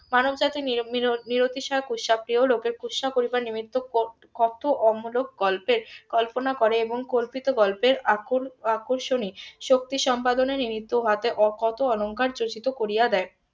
মানব জাতির . কুৎসা প্রিয় লোকের কুৎসা করিবার নিমিত্ত কত অমূলক গল্পের কল্পনা করে এবং কল্পিত গল্পের আক~ আকর্ষণী শক্তি সম্পাদনার নিমিত্ত . কত অলংকার . করিয়া দেয়